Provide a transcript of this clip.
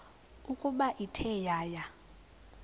ukuba ithe yaya